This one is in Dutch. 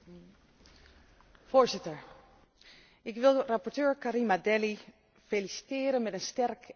Voorzitter, ik wil rapporteur Karima Delli feliciteren met een sterk en vindingrijk verslag.